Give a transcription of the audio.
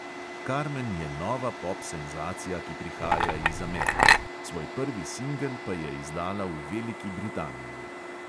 Karmen je nova pop senzacija, ki prihaja iz amerike, svoj prvi singel pa je izdala v veliki britaniji.